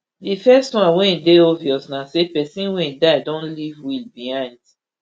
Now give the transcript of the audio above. di first one wey dey obvious na say pesin wey die don leave will behind